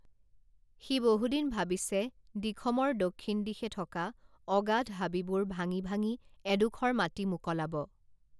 সি বহুদিন ভাৱিছে দিখমৰ দক্ষিণ দিশে থকা অগাধ হাবিবোৰ ভাঙি ভাঙি এডোখৰ মাটি মোকলাব